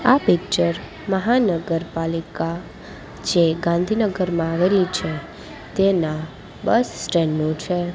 આ પિક્ચર મહાનગરપાલિકા જે ગાંધીનગરમાં આવેલી છે તેના બસ સ્ટેન્ડ નું છે.